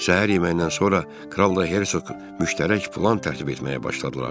Səhər yeməyindən sonra kral da, hersoq da müştərək plan tərtib etməyə başladılar.